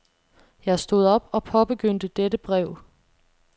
Jeg stod op og påbegyndte dette brev.